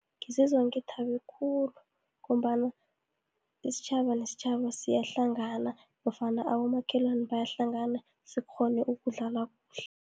Ngizizwa ngithabe khulu, ngombana isitjhaba nesitjhaba siyahlangana, nofana abomakhelwane bayahlangana, sikghone ukudlala kuhle.